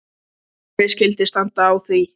En hvernig skyldi standa á því?